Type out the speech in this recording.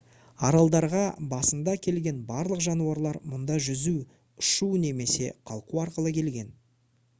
аралдарға басында келген барлық жануарлар мұнда жүзу ұшу немесе қалқу арқылы келген